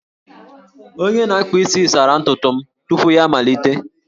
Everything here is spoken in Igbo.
Onye na-akpa isi sara ntutu m tupu ya amalite